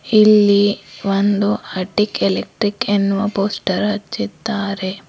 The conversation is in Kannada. ಇಲ್ಲಿ ಒಂದು ಅಟೀಕ್ ಎಲೆಕ್ಟ್ರಿಕ್ ಎನ್ನುವ ಪೋಸ್ಟರ್ ಹಚ್ಚಿದ್ದಾರೆ.